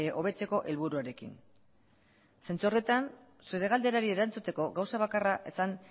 hobetzeko helburuarekin zentzu horretan zure galderari erantzuteko gauza bakarra esan